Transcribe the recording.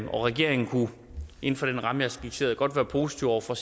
regeringen kunne inden for den ramme jeg har skitseret godt være positive over for